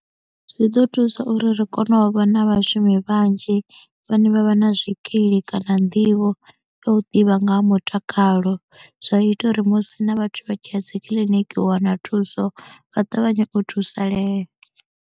Zwi ḓo thusa uri ri kone u vhona vhashumi vhanzhi vhane vha vha na zwikili kana nḓivho ya u ḓivha nga ha mutakalo zwa ita uri musi na vhathu vha tshi ya dzi kiḽiniki u wana thuso vha ṱavhanye u thusalea.